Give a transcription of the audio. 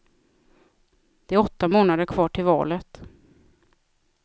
Det är åtta månader kvar till valet.